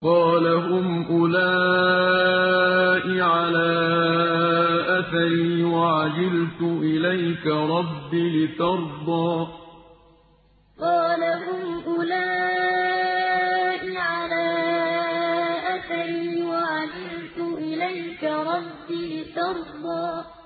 قَالَ هُمْ أُولَاءِ عَلَىٰ أَثَرِي وَعَجِلْتُ إِلَيْكَ رَبِّ لِتَرْضَىٰ قَالَ هُمْ أُولَاءِ عَلَىٰ أَثَرِي وَعَجِلْتُ إِلَيْكَ رَبِّ لِتَرْضَىٰ